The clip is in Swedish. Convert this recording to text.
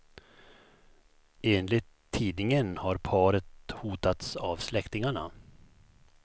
Enligt tidningen har paret hotats av släktingarna.